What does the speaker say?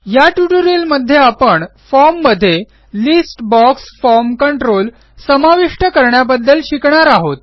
या ट्युटोरियलमध्ये आपण फॉर्म मध्ये लिस्ट बॉक्स फॉर्म कंट्रोल समाविष्ट करण्याबद्दल शिकणार आहोत